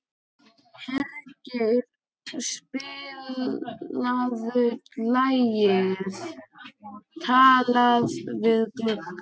Hergeir, spilaðu lagið „Talað við gluggann“.